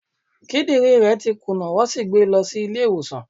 Kidin re ti kuna, won si gbe e lo si ile iwosan